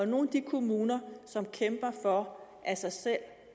nogle af de kommuner som kæmper for af sig selv